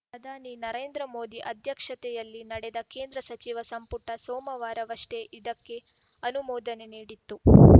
ಪ್ರಧಾನಿ ನರೇಂದ್ರ ಮೋದಿ ಅಧ್ಯಕ್ಷತೆಯಲ್ಲಿ ನಡೆದ ಕೇಂದ್ರ ಸಚಿವ ಸಂಪುಟ ಸೋಮವಾರವಷ್ಟೇ ಇದಕ್ಕೆ ಅನುಮೋದನೆ ನೀಡಿತ್ತು